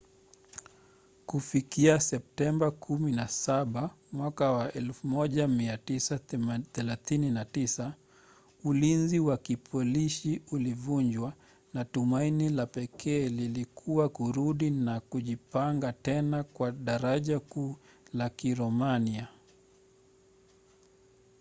kufikia septemba 17 1939 ulinzi wa kipolishi ulivunjwa na tumaini la pekee lilikuwa kurudi na kujipanga tena kwa darajakuu la kiromania